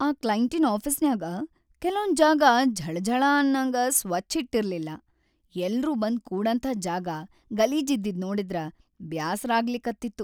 ಆ ಕ್ಲೈಂಟಿನ್‌ ಆಫೀಸ್‌ನ್ಯಾಗ ಕೆಲೊಂದ್‌ ಜಾಗ ಝಳಾಝಳಾ ಅನ್ನಂಗ ಸ್ವಚ್ಛ್‌ ಇಟ್ಟಿರ್ಲಿಲ್ಲಾ, ಎಲ್ರೂ ಬಂದ್‌ ಕೂಡಂಥಾ ಜಾಗ‌ ಗಲೀಜಿದ್ದಿದ್ ನೋಡಿದ್ರ ಬ್ಯಾಸರಾಗ್ಲಿಕತ್ತಿತ್ತು.